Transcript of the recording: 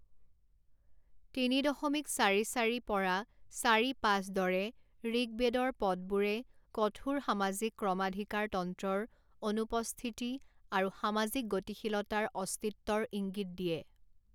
তিনি দশমিক চাৰি চাৰি পৰা চাৰি পাঁচ দৰে ঋকবেদৰ পদবোৰে কঠোৰ সামাজিক ক্ৰমাধিকাৰতন্ত্ৰৰ অনুপস্থিতি আৰু সামাজিক গতিশীলতাৰ অস্তিত্বৰ ইংগিত দিয়ে।